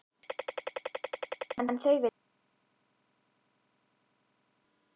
Hann veiddi fisk en þau veiddu humar.